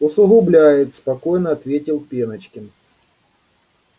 усугубляет спокойно ответил пеночкин